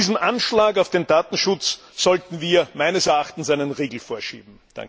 Diesem Anschlag auf den Datenschutz sollten wir meines Erachtens einen Riegel vorschieben.